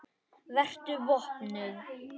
Vertu vopnuð.